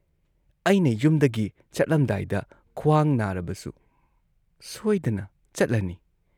ꯑꯩꯅ ꯌꯨꯝꯗꯒꯤ ꯆꯠꯂꯝꯗꯥꯏꯗ ꯈ꯭ꯋꯥꯡ ꯅꯥꯔꯕꯁꯨ ꯁꯣꯏꯗꯅ ꯆꯠꯂꯅꯤ ꯫